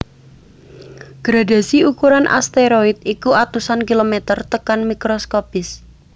Gradhasi ukuran asteroid iku atusan kilomèter tekan mikroskopis